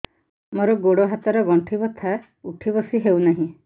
ମୋର ଗୋଡ଼ ହାତ ର ଗଣ୍ଠି ବଥା ଉଠି ବସି ହେଉନାହିଁ